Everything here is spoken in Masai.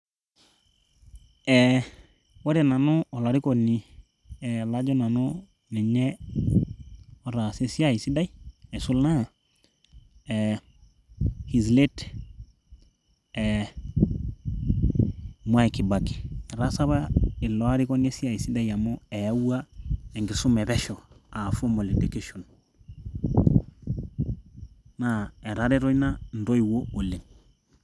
ee ore nanu olarikoni lajo nanu ninye otaasa esiai sidai aisul naa his late Mwai kibaki etaasa apa ilo arikoni esiai sidai amu eyawua enkisuma epesho aa formal education naa etareto ina intoiwuo oleng.